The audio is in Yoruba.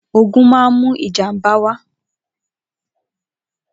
Ógùn mà n mù ijàmbá wá